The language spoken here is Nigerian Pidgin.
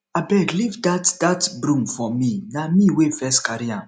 abeg leave dat dat broom for me na me wey first carry am